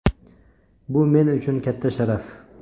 Bu men uchun katta sharaf.